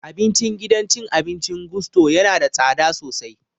Abincin gidan cin abincin Gusto yana da tsada sosai